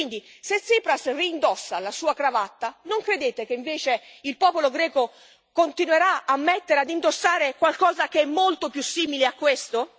Quindi se Tsipras reindossa la sua cravatta, non credete che invece il popolo greco continuerà a indossare qualcosa che è molto più simile a questo